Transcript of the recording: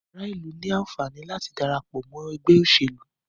Ará ìlú ní ẹ̀tọ́ láti darapọ̀ mọ́ ẹgbẹ́ òṣèlú.